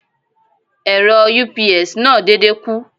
Ẹ̀rọ UPS náà dédé kú.